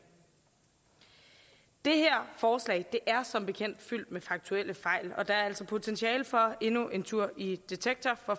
det her forslag er som bekendt fyldt med faktuelle fejl og der er altså potentiale for endnu en tur i detektor